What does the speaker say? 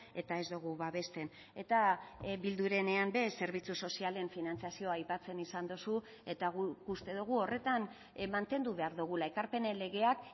eta ez dugu babesten eta bildurenean ere zerbitzu sozialen finantzazioa aipatzen izan duzu eta guk uste dugu horretan mantendu behar dugula ekarpenen legeak